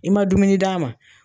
I man dumuni d'a ma.